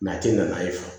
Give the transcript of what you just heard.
a ti na n'a ye